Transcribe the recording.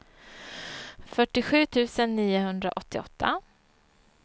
fyrtiosju tusen niohundraåttioåtta